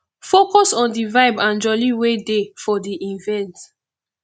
focus on di vibe and jolly wey dey for di event